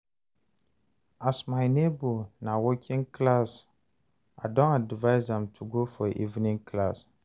as my nebor na working class, I don advice am to go for evening classes.